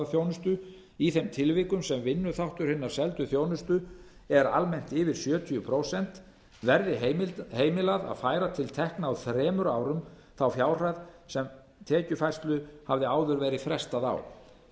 þjónustu í þeim tilvikum sem vinnuþáttur hinnar seldu þjónustu er almennt yfir sjötíu prósent verði heimilað að færa til tekna á þremur árum þá fjárhæð sem tekjufærslu hafði áður verið frestað á í